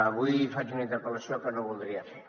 avui faig una interpel·lació que no voldria fer